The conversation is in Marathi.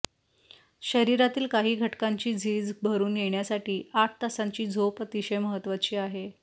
शरीरातील काही घटकांची झीज भरून येण्यासाठी आठ तासांची झोप अतिशय महत्त्वाची आहे